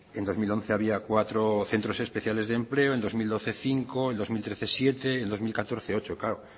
en dos mil once había cuatro centros especiales de empleo en dos mil doce cinco en dos mil trece siete en dos mil catorce ocho claro